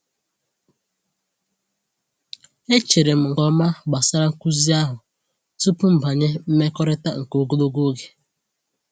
E chere m nke ọma gbasara nkuzi ahụ tupu m banye mmekọrịta nke ogologo oge.